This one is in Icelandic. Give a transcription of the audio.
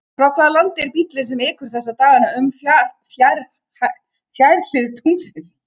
Frá hvaða landi er bíllinn sem ekur þessa dagana um fjærhlið tunglsins?